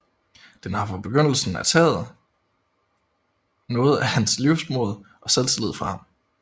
Den har fra begyndelsen af taget noget af hans livsmod og selvtillid fra ham